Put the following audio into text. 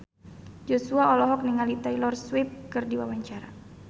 Joshua olohok ningali Taylor Swift keur diwawancara